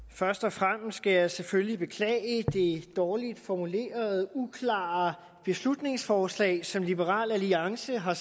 først og fremmest skal jeg selvfølgelig beklage det dårligt formulerede og uklare beslutningsforslag som liberal alliance har